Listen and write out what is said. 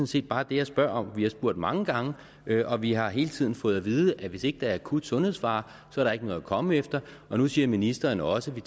set bare det jeg spørger om vi har spurgt mange gange og vi har hele tiden fået at vide at hvis ikke der er akut sundhedsfare er der ikke noget at komme efter og nu siger ministeren også at vi